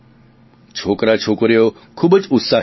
છોકરાછોકરીઓ ખૂબજ ઉત્સાહી હતા